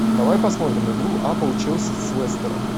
давай посмотрим игру апл челси с лестером